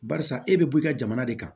Barisa e be bɔ i ka jamana de kan